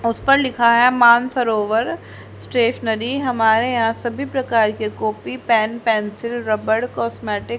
उस पर लिखा है मानसरोवर स्टेशनरी हमारे यहां सभी प्रकार के copy pen pencil rubber cosmetic --